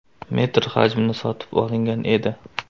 metr hajmida sotib olgan edi.